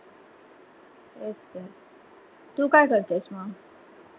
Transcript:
तेच तर तू काय करतेस म?